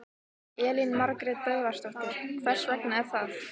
Elín Margrét Böðvarsdóttir: Hvers vegna er það?